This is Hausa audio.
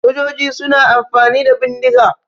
Sojoji suna amfani da bindiga.